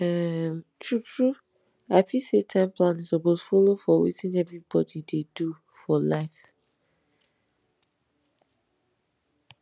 um truetrue i feel say time planning suppose follow for wetin everybody dey do for life